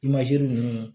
ninnu